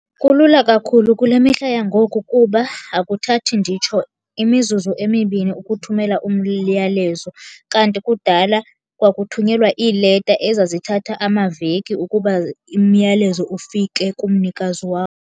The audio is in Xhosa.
Kulula kakhulu kule mihla yangoku kuba akuthathi nditsho imizuzu emibini ukuthumela umyalezo, kanti kudala kwakuthunyelwa iileta ezazithatha amaveki ukuba imiyalezo ufike kumnikazi wawo.